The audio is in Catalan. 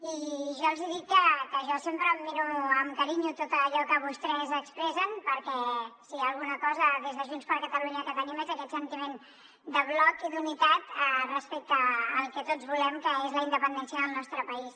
i jo els hi dic que jo sempre em miro amb carinyo tot allò que vostès expressen perquè si hi ha alguna cosa des de junts per catalunya que tenim és aquest sentiment de bloc i d’unitat respecte al que tots volem que és la independència del nostre país